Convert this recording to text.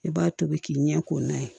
I b'a tobi k'i ɲɛ k'o n'a ye